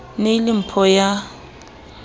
ne e le mpho ya